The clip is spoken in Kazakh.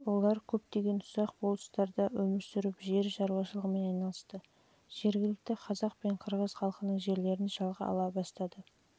олар көптеген ұсақ болыстықтарда өмір сүріп жер шаруашылығымен айналысты жергілікті қазақ пен қырғыз халқының жерлерін жалға алу басты